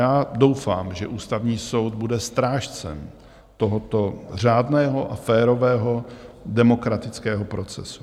Já doufám, že Ústavní soud bude strážcem tohoto řádného a férového demokratického procesu.